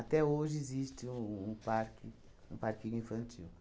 hoje existe um parque um parquinho infantil.